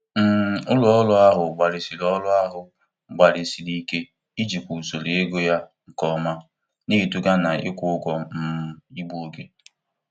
um Ụlọ ọrụ ahụ gbalịsiri ọrụ ahụ gbalịsiri ike ijikwa usoro ego ya nke ọma, na-eduga na-ịkwụ ụgwọ um igbu oge.